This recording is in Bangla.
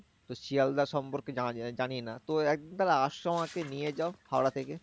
তো শিয়ালদা সম্পর্কে জানা জানি না তো একবার আসো আমাকে নিয়ে যাও হাওড়া থেকে।